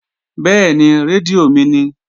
Bẹ́ẹ̀ni, rédíò mi ni